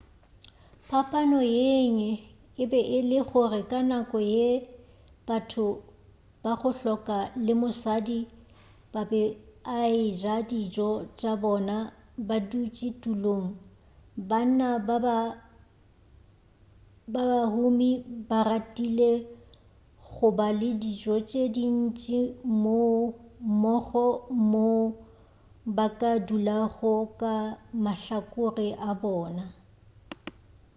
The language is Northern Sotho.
phapano yengwe e be e le gore ka nako ye batho ba go hloka le mosadi ba be a eja dijo tša bona ba dutši ditulong banna ba ba humi ba ratile go ba le dijo tše dintši mmogo moo ba ka dulago ka mahlakore a bona